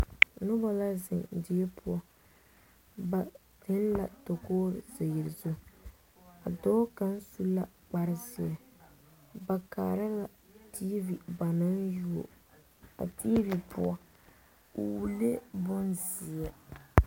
Noba la zeŋ die poɔ ba zeŋ la dakogri mine zu a dɔɔ kaŋ su la kpare zeɛ ba kaara la tiivi ba naŋ yuo a tiivi poɔ o wulee bonzeɛ.